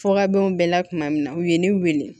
Fɔ ka bɛn u bɛɛ la kuma min na u ye ne wele